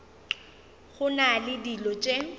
go na le dilo tše